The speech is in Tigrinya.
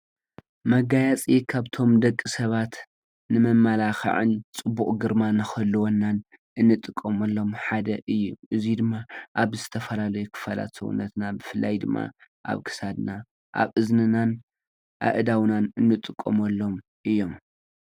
መጋየፂ ካብቶም ደቂ ሰባት ንመመላክዕን ፅቡቅ ግርማ ንክህልወናን እንጥቀመሎም ሓደ እዪ:: እዚ ድማ አብ ዝተፈላለዩ ክፋላት ሰዉነትና ብፍላይ ድማ አብ ክሳድና አብ እዝንናን አእዳዉናን ንጥቀመሎም እዮም ።